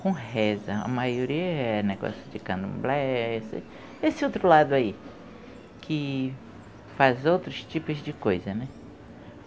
com reza, a maioria é negócio de candomblé esse esse outro lado aí que faz outros tipos de coisa, né?